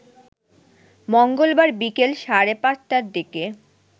মঙ্গলবার বিকেল সাড়ে পাঁচটার দিকে